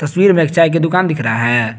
तस्वीर में एक चाय की दुकान दिख रहा है।